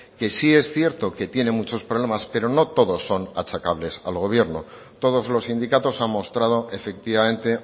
sí es cierto que tiene muchos problemas pero no todos son achacables al gobierno todos los sindicatos han mostrado efectivamente